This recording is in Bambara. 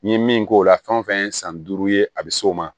N ye min k'o la fɛn fɛn ye san duuru ye a bɛ s'o ma